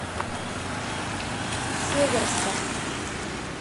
северском